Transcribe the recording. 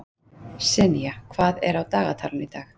Senía, hvað er á dagatalinu í dag?